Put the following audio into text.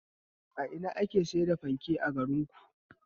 A ina ne ake sayar da fanke a garinku?